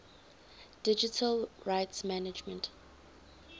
digital rights management